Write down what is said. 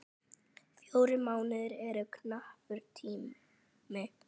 Fjórir mánuðir eru knappur tími.